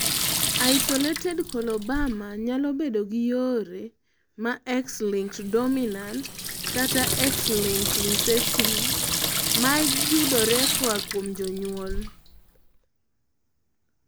isolated coloboma nyalo bedogi yore ma X-linked dominant kata X-linked recessive mag yudre koa kuom jonyuol